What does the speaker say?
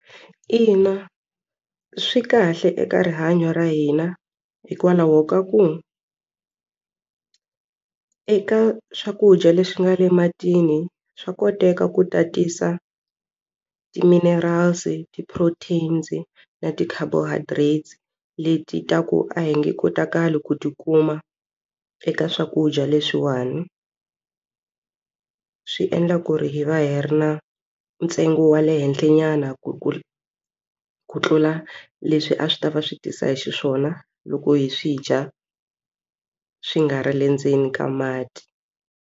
Ina swi kahle eka rihanyo ra hina hikwalaho ka ku eka swakudya leswi nga le ematini swa koteka ku tatisa ti-minerals ti-proteins na ti-carbohydrates leti ta ku a hi nge kotakali ku ti kuma eka swakudya leswiwani swi endla ku ri hi va hi ri na ntsengo wa le henhla nyana ku ku ku tlula leswi a swi ta va swi tisa xiswona loko hi swi dya swi nga ri le ndzeni ka mati.